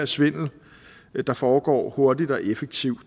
svindel der foregår hurtigt og effektivt